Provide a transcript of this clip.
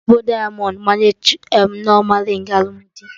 Eji ezigbo dịamọnd gbanye Nneoma rịng alụmdi